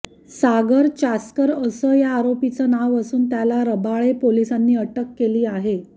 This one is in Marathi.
सागर चासकर असं या आरोपीचं नाव असून त्याला रबाळे पोलिसांनी अटक केली आहे